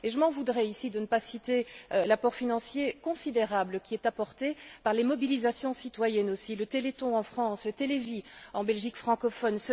Et je m'en voudrais ici de ne pas citer le soutien financier considérable qui est apporté par les mobilisations citoyennes aussi le Téléthon en France, le Télévie en Belgique francophone.